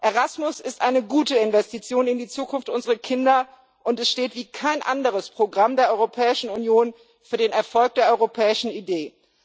Erasmus ist eine gute Investition in die Zukunft unserer Kinder, und es steht wie kein anderes Programm der Europäischen Union für den Erfolg der europäischen Idee.